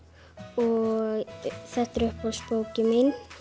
og þetta er uppáhaldsbókin mín